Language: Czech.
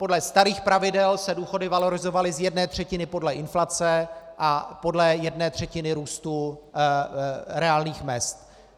Podle starých pravidel se důchody valorizovaly z jedné třetiny podle inflace a podle jedné třetiny růstu reálných mezd.